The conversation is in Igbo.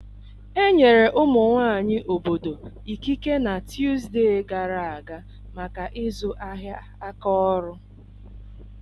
Enyere ụmụ nwanyị obodo ikike na Tuzdee gara aga maka ịzụ ahịa aka ọrụ.